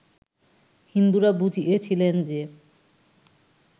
হিন্দুরা বুঝিয়াছিলেন যে